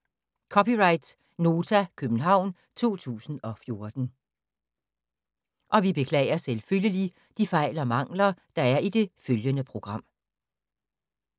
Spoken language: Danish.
(c) Nota, København 2014